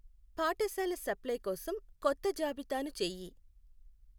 పాఠశాల సప్ప్లై కోసం కొత్త జాబితాను చెయ్యి.